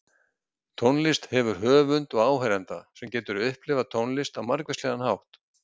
Tónlist hefur höfund og áheyranda, sem getur upplifað tónlist á margvíslegan hátt.